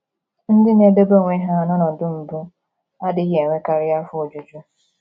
Ndị na - edebe onwe ha n’ọnọdụ mbụ adịghị enwekarị afọ ojuju.